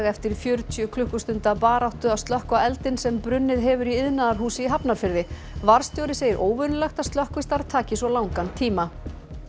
eftir fjörutíu klukkustunda baráttu að slökkva eldinn sem brunnið hefur í iðnaðarhúsi í Hafnarfirði varðstjóri segir óvenjulegt að slökkvistarf taki svona langa tíma